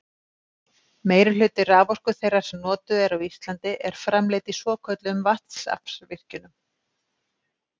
Meirihluti raforku þeirrar sem notuð er á Íslandi er framleidd í svokölluðum vatnsaflsvirkjunum.